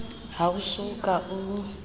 ha o so ka o